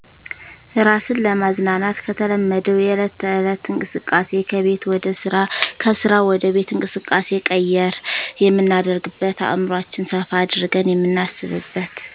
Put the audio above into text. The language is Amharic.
እራስን ለማዝናናት ከተለመደዉ የዕለት ተዕለት እንቅስቃሴ ከቤት ወደ ስራ ከስራ ወደ ቤት እንቅስቃሴ ቀየር የምናደርግበት አዕምሯችን ሰፋ አድርገን የምናስብበት